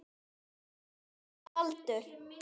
Þinn sonur Baldur.